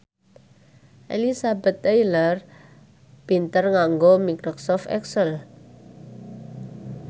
Elizabeth Taylor pinter nganggo microsoft excel